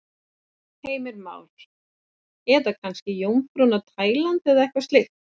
Heimir Már: Eða kannski Jómfrúin á Tælandi eða eitthvað slíkt?